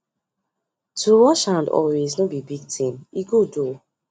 to wash hand always no be big thing e good o